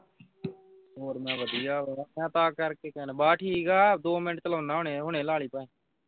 ਹੋਰ ਮੈ ਵਧੀਆ ਵਾਂ ਮੈਂ ਤਾਂ ਕਰ ਕੇ ਕਹਿਣਾ ਬਸ ਠੀਕ ਆਂ ਦੋ ਮਿੰਟ ਲਾਉਂਦਾ ਹੁਣੇ ਹੁਣੇ ਲਾ ਲਵੀਂ ਭਾਵੇ